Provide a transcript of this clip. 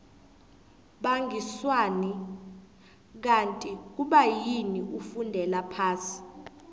bangiswani kanti kubayini ufundela phasi